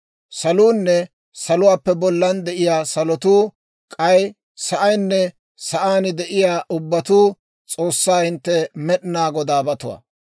«Saluunne saluwaappe bollana de'iyaa salotuu, k'ay sa'aynne sa'aan de'iyaa ubbabatuu S'oossaa hintte Med'inaa Godaabatuwaa.